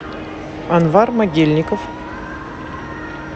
анвар могильников